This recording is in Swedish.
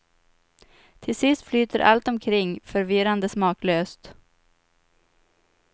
Till sist flyter allt omkring förvirrande smaklöst.